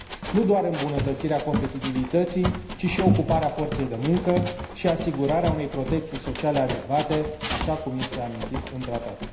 nu doar îmbunătățirea competitivității, ci și ocuparea forței de muncă și asigurarea unei protecții sociale adecvate, așa cum este amintit în tratat.